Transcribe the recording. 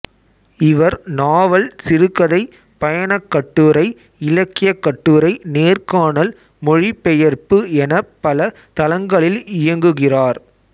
இவர் நாவல் சிறுகதை பயணக் கட்டுரை இலக்கியக் கட்டுரை நேர்காணல் மொழிபெயர்ப்பு எனப் பல தளங்களில் இயங்குகிறார்